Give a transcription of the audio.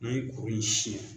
I ye kuru in siyɛn